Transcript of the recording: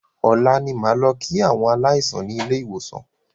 Ọ̀la ni a máa lọ kí àwọn aláìsàn ni ilé ìwòsàn